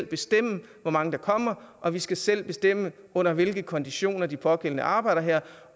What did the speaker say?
bestemme hvor mange der kommer og vi skal selv bestemme under hvilke konditioner de pågældende arbejder her